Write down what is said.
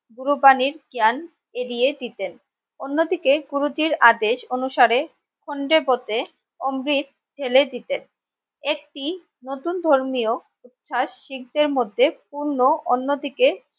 গুরুবানীর জ্ঞান এগিয়ে দিতেন অন্য দিকে গুরুজীর আদেশ অনুসারে খন্ডে পথে অমৃত ঢেলে দিতেন একটি নতুন ধর্মীয় উচ্ছাস শিখদের মধ্যে পূর্ন অন্য দিকে